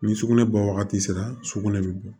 Ni sugunɛ bɔ wagati sera sugunɛ bɛ bɔ